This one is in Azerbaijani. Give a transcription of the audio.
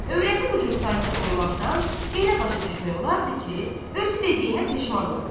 Övrəti bu cür sakit olmaqdan elə başa düşmək olardı ki, özü dediyinə peşman oldu.